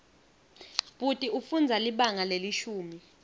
bhuti ufundza libanga lelishumi